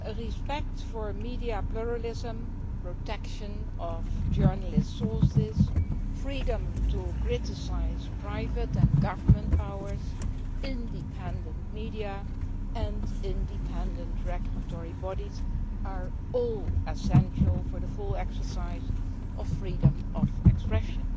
Respect for media pluralism, protection of journalists' sources, freedom to criticise private and government powers, independent media and independent regulatory bodies are all essential for the full exercise of freedom of expression,